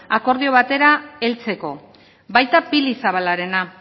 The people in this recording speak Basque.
akordio batera heltzeko baita pili zabalarena